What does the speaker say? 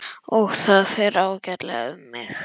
Og það fer ágætlega um mig.